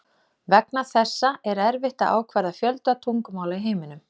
Vegna þessa er erfitt að ákvarða fjölda tungumála í heiminum.